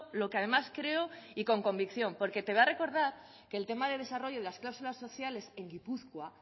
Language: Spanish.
lo que además creo y con convicción porque te voy a recordar que el tema de desarrollo y las cláusulas sociales en gipuzkoa